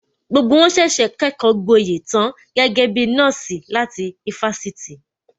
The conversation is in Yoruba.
Gbogbo wọn ṣẹ̀ṣẹ̀ kẹ́kọgboyè tan gẹ́gẹ́ bí nọ́ọ̀sì láti ifásitì